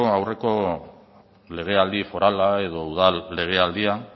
aurreko legealdi forala edo udal legealdian